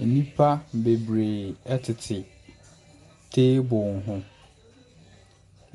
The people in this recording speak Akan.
Nnipa bebree ɛtete table ho.